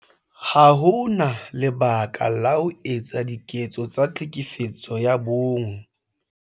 Ha ho na lebaka la ho etsa diketso tsa Tlhekefetso ya bong.